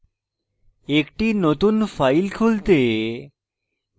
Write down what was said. একটি নতুন file খুলতে